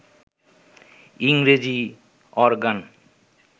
ইংরেজি অরগ্যান